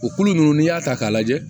O kolo ninnu n'i y'a ta k'a lajɛ